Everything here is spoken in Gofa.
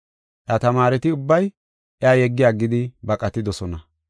Iya tamaareti ubbay iya yeggi aggidi baqatidosona.